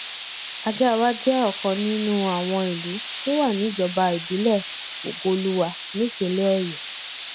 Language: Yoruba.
àjàáwá jẹ ọkan nínú àwọn ìlú tó wà níjọba ìbílẹ ògoolúwa nípínlẹ ọyọ